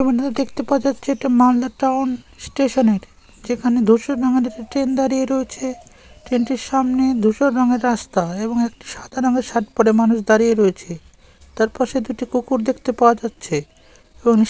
এখানটাতে দেখতে পাওয়া যাচ্ছে এটা মালদা টাউন স্টেশন -এর যেখানে ধূসর রঙের একটা ট্রেন দাঁড়িয়ে রয়েছে ট্রেন -টির সামনে ধূসর রঙের রাস্তা এবং একটি সাদা রঙের শার্ট পরে মানুষ দাঁড়িয়ে রয়েছে। তার পাশে দুটো কুকুর দেখতে পাওয়া যাচ্ছে । এবং --